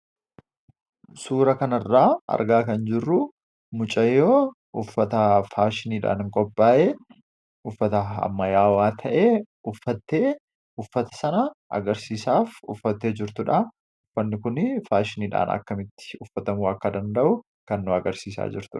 Suura kan irraa argaa kan jirruu mucayyoo uffata faashiniidhaan qophaa'ee uffata ammayaawaa ta'ee uffattee uffata sana agarsiisaaf uffattee jirtuudha. Uffanni kun faashiniidhaan akkamitti uffatamuu akka danda'u kan nuti agarsiisaa jirtudha.